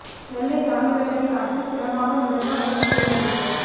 நெல்லை தாமிரபரணி ஆற்றில் பிணமாக மிதந்த வங்கி பெண் ஊழியர்